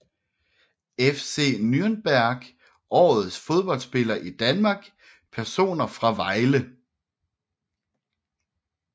FC Nürnberg Årets Fodboldspiller i Danmark Personer fra Vejle